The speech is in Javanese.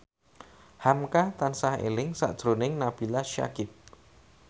hamka tansah eling sakjroning Nabila Syakieb